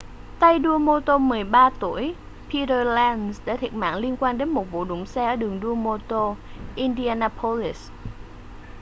tay đua mô tô 13 tuổi peter lenz đã thiệt mạng liên quan đến một vụ đụng xe ở đường đua mô-tô indianapolis